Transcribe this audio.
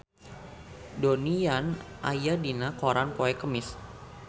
Donnie Yan aya dina koran poe Kemis